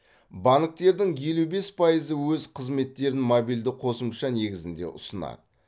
банктердің елу бес пайызы өз қызметтерін мобильді қосымша негізінде ұсынады